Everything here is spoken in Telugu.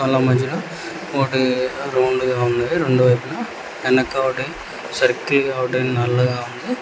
వాళ్ళ మధ్యలో ఒకటి రౌండ్ గా ఉన్నది రొండు వైపున ఎనక ఒకటి సర్కిల్ గా ఒకటి నల్లగా ఉంది.